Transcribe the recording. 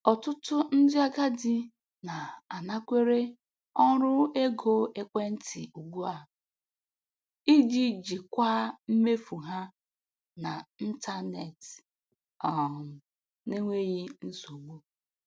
Ọtụtụ ndị agadi na-anakwere ọrụ ego ekwentị ugbu a iji jikwaa mmefu ha na ntanetị um n'enweghị nsogbu.